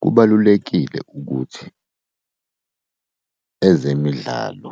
Kubalulekile ukuthi ezemidlalo